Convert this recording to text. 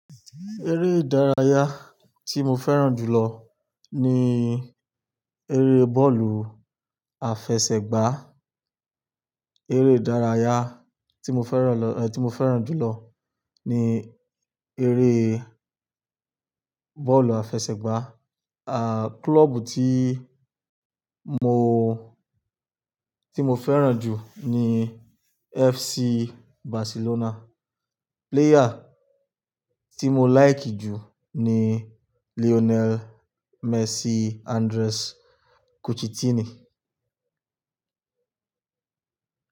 Ère ìdárayá tí mo fẹ́ràn jù lọ ní eré bọ́ọ̀lù àfẹsẹ̀gbá. Ère ìdárayá tí mo fẹ́ràn lọ, tí mo fẹ́ràn jù lọ ní eré bọ́ọ̀lù àfẹsẹ̀gbá. À, klọ́ọ̀bù tí mo, tí mo fẹ́ràn jù ní FC Barcelona. Player tí mo like jù ní Lionel Messi Andres Coutinho.